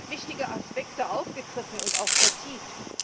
Sie hat wichtige Aspekte aufgegriffen und auch vertieft.